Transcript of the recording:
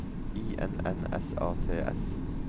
I N N S A T S